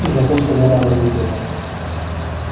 и за то что вера разлюбила